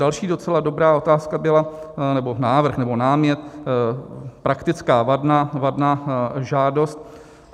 Další docela dobrá otázka byla, nebo návrh, nebo námět, praktická - vadná žádost.